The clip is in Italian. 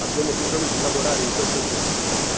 Abbiamo bisogno di lavorare in questa direzione.